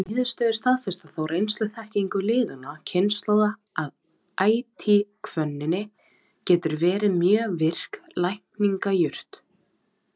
Þessar niðurstöður staðfesta þá reynsluþekkingu liðinna kynslóða, að ætihvönnin getur verið mjög virk lækningajurt.